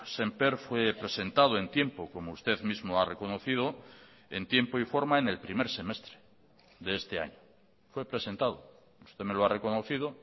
sémper fue presentado en tiempo como usted mismo ha reconocido en tiempo y forma en el primer semestre de este año fue presentado usted me lo ha reconocido